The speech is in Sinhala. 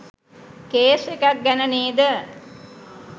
කේස් එකක් ගැන නේද?